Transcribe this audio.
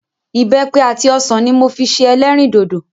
Ìbẹ́pẹ àti ọsàn ni mo fi ṣe ẹlẹ́rìndòdò.